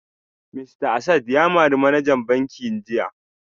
Mista Asad ya mari manajan bankin jiya